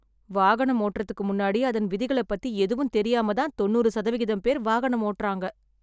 வாகனம் ஓட்றதுக்கு முன்னாடி அதன் விதிகள பத்தி எதுவும் தெரியாம தான் தொண்ணூறு சதவிகிதம் பேர் வாகனம் ஓட்றாங்க.